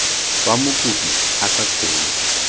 fa mokopi a sa kgone